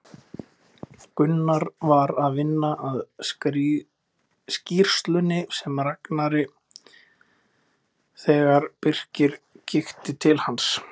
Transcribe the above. Gunnar var að vinna að skýrslunni með Ragnari þegar Birkir kíkti til hans.